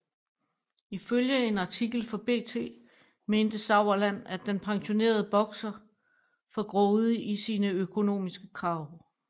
Ifølge en artikel for BT mente Sauerland at den pensionerede bokser for grådig i sine økonomiske krav